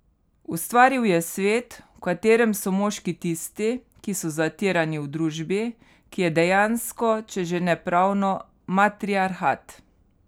Ustvaril je svet, v katerem so moški tisti, ki so zatirani v družbi, ki je dejansko, če že ne pravno matriarhat.